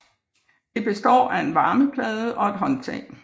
Det består af en varmeplade og et håndtag